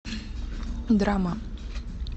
драма